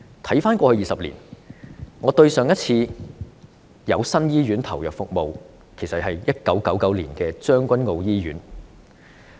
回看過去20年，對上一次有新醫院投入服務，是1999年的將軍澳醫院。